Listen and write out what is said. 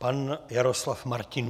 Pan Jaroslav Martinů.